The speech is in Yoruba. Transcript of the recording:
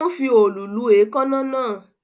Ó ń fi òòlù lu èékánná náà